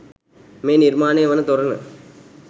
මේ නිර්මාණය වන තොරණ